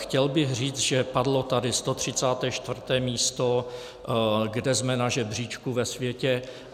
Chtěl bych říct, že padlo tady 134. místo, kde jsme na žebříčku ve světě.